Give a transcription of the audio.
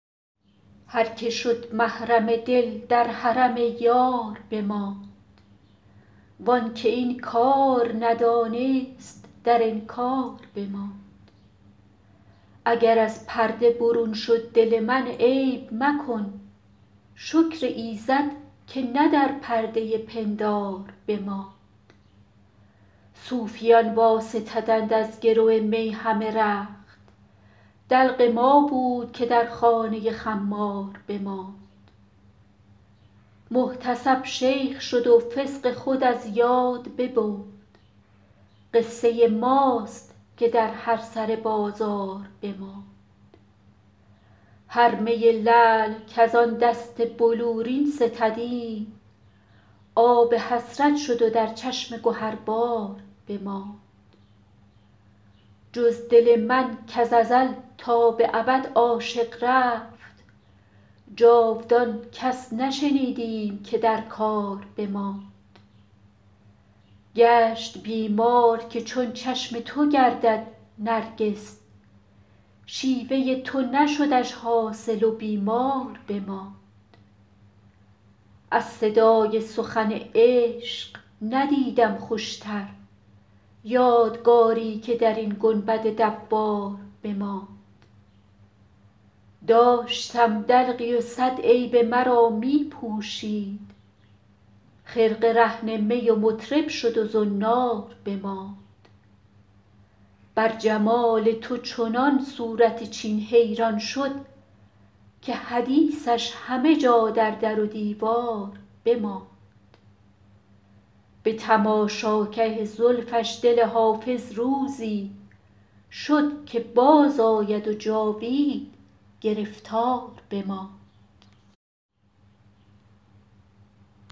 هر که شد محرم دل در حرم یار بماند وان که این کار ندانست در انکار بماند اگر از پرده برون شد دل من عیب مکن شکر ایزد که نه در پرده پندار بماند صوفیان واستدند از گرو می همه رخت دلق ما بود که در خانه خمار بماند محتسب شیخ شد و فسق خود از یاد ببرد قصه ماست که در هر سر بازار بماند هر می لعل کز آن دست بلورین ستدیم آب حسرت شد و در چشم گهربار بماند جز دل من کز ازل تا به ابد عاشق رفت جاودان کس نشنیدیم که در کار بماند گشت بیمار که چون چشم تو گردد نرگس شیوه تو نشدش حاصل و بیمار بماند از صدای سخن عشق ندیدم خوشتر یادگاری که در این گنبد دوار بماند داشتم دلقی و صد عیب مرا می پوشید خرقه رهن می و مطرب شد و زنار بماند بر جمال تو چنان صورت چین حیران شد که حدیثش همه جا در در و دیوار بماند به تماشاگه زلفش دل حافظ روزی شد که بازآید و جاوید گرفتار بماند